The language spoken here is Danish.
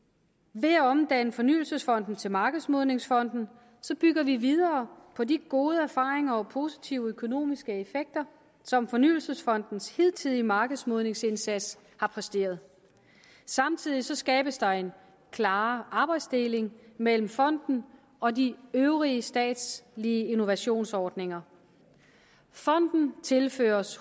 ved at omdanne fornyelsesfonden til markedsmodningsfonden bygger vi videre på de gode erfaringer og positive økonomiske effekter som fornyelsesfondens hidtidige markedsmodningsindsats har præsteret samtidig skabes der en klarere arbejdsdeling mellem fonden og de øvrige statslige innovationsordninger fonden tilføres